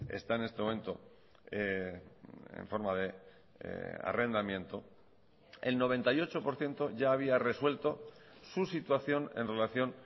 está en este momento en forma de arrendamiento el noventa y ocho por ciento ya había resuelto su situación en relación